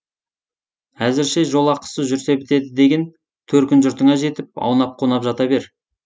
әзірше жолақысы жүрсе бітеді деген төркін жұртыңа жетіп аунап қунап жата бер